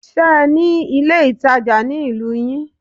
Ṣe ní ilé ìtajà ní ìlú yín?